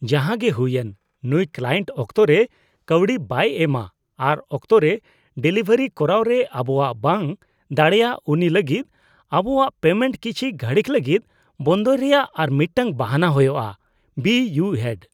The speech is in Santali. ᱡᱟᱦᱟᱸᱜᱮ ᱦᱩᱭᱮᱱ, ᱱᱩᱭ ᱠᱞᱟᱭᱮᱱᱴ ᱚᱠᱛᱚ ᱨᱮ ᱠᱟᱹᱣᱰᱤ ᱵᱟᱭ ᱮᱢᱼᱟ ᱟᱨ ᱚᱠᱛᱚᱨᱮ ᱰᱮᱞᱤᱵᱷᱟᱨᱤ ᱠᱚᱨᱟᱣ ᱨᱮ ᱟᱵᱚᱣᱟᱜ ᱵᱟᱝ ᱫᱟᱲᱮᱭᱟᱜ ᱩᱱᱤ ᱞᱟᱹᱜᱤᱫ ᱟᱵᱚᱣᱟᱜ ᱯᱮᱢᱮᱱᱴ ᱠᱤᱪᱷᱤ ᱜᱷᱟᱹᱲᱤᱠ ᱞᱟᱹᱜᱤᱫ ᱵᱚᱱᱫᱚᱭ ᱨᱮᱭᱟᱜ ᱟᱨ ᱢᱤᱫᱴᱟᱝ ᱵᱟᱦᱟᱱᱟ ᱦᱳᱭᱳᱜᱼᱟ ᱾ (ᱵᱤ ᱤᱭᱩ ᱦᱮᱰ)